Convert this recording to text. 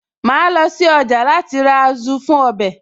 Màá lọ sí ọjà láti ra Azu fún ọbẹ̀